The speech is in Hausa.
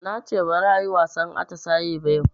Nace baza ayi wasan atisaye ba yau